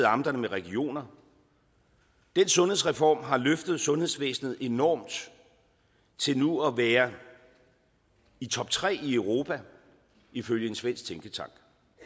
amterne med regioner den sundhedsreform har løftet sundhedsvæsenet enormt til nu at være i toptre i europa ifølge en svensk tænketank